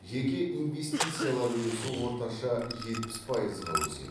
жеке инвестициялар үлесі орташа жетпіс пайызға өседі